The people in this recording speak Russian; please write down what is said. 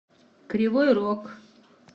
кривой рог